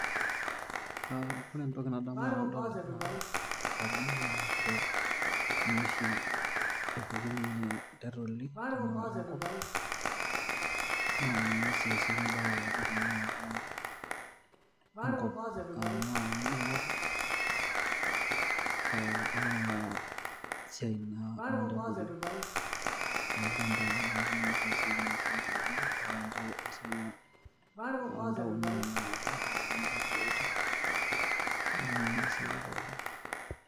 Uh ore entoki nadamu tenadol ena aji naa inchere ninye oshi epukunyie intaitoli tena kata enkop naa ninye sii eesieki imbaa pookin tenaata enkop uh tenaa kendung'oto oh onona siai naa ontaitoli olchambai neeku ninye oshi eesieki ina siai pookin mpaka intao esiai ontaoni tenakata uh adung'unyie implooti neeku ninye eesieki pookin.